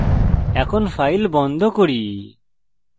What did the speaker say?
file বন্ধ করি